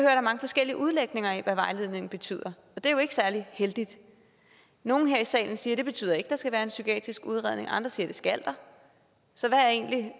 er mange forskellige udlægninger af hvad vejledningen betyder og det er jo ikke særlig heldigt nogle her i salen siger at det ikke betyder at der skal være en psykiatrisk udredning andre siger at det skal der så hvad er egentlig